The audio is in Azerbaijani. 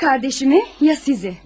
Ya qardaşımı ya sizi.